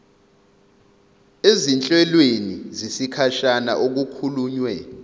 ezinhlelweni zesikhashana okukhulunywe